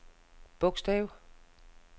bogstav